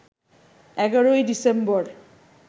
১১ December